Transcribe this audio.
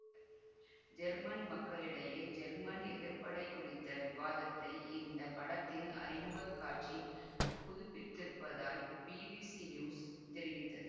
German மக்களிடையே German எதிர்ப்படை குறித்த விவாதத்தை இந்த படத்தின் அறிமுகக் காட்சி புதுப்பித்திருப்பதாய் பிபிசி நியூஸ் தெரிவித்தது